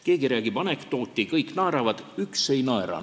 Keegi räägib anekdoodi, kõik naeravad, üks ei naera.